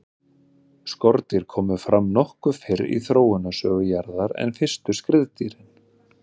skordýr komu fram nokkuð fyrr í þróunarsögu jarðar en fyrstu skriðdýrin